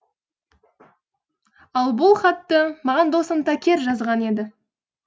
ал бұл хатты маған досым такер жазған еді